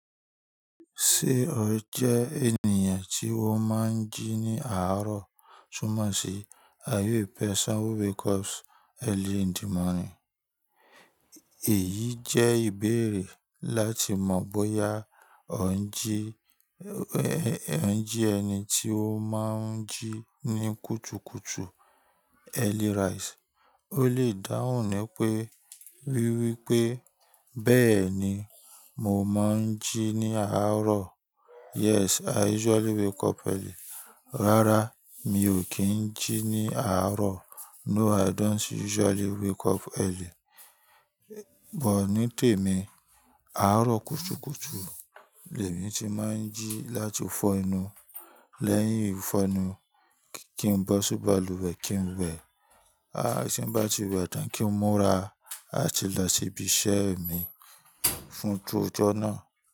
Ṣé o jẹ ènìyàn tí wọ́n máa ń jí ní àárọ̀ tun mo si de sanwo because Early in the morning. Èyí jẹ́ ìbéèrè láti mọ bóyá o ń jí, e n jí ẹni tí ó máa ń jí ní kùtùkùtù Early rise. Ó lè dáhùn ni pé, wíwipe bẹ́ẹ̀ ni mo máa ń jí ní àárọ̀. Yes, I usually wake up early. Rárá, mi ò kí ń jí ní àárọ̀. No, I don't usually wake up early. Bọ̀ ní tèmi, àárọ̀ kùtùkùtù l'ẹ̀mí ti máa ń jí láti fọ́ enu. Lẹ́yìn ìfọnu, kí n bo si baluwe kí n wẹ̀. A, tí n bá ti wẹ̀ tán kí n múra. A ti lọ síbi iṣẹ́ mi fún ojó náà.